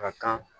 A ka kan